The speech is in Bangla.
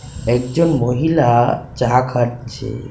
একজন মহিলা চা খাচ্ছে .